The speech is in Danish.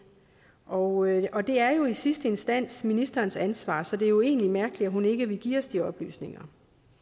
og og det er jo i sidste instans ministerens ansvar så det er jo egentlig mærkeligt at hun ikke vil give os de oplysninger